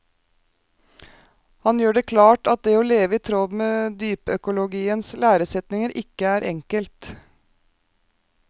Han gjør det klart at det å leve i tråd med dypøkologiens læresetninger ikke er enkelt.